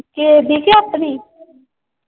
ਕਿਸੇ ਦੀ ਕੇ ਆਪਣੀ।